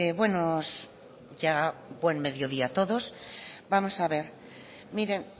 buenos ya buen mediodía a todos vamos a ver miren